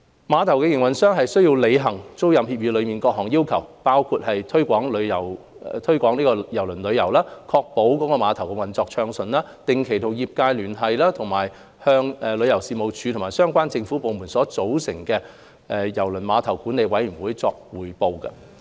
碼頭營運商須履行租賃協議內各項要求，包括推廣郵輪旅遊、確保碼頭運作暢順、定期與業界聯繫及定期向由旅遊事務署及相關政府部門組成的郵輪碼頭管理委員會匯報。